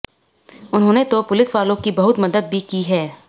उन्होंने तो पुलिस वालो की बहुत मदद भी की है